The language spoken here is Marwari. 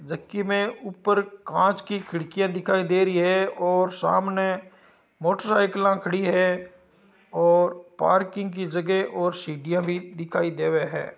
जकी में ऊपर काच की खिड़कीया दिखाई दे रही है और सामने मोटरसायकलां खड़ी है और पार्किंग की जगह और सीडिया भी दिखाई देवे है।